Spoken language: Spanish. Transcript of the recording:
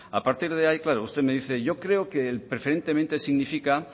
a partir de ahí usted me dice yo creo que el preferentemente significa